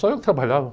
Só eu que trabalhava.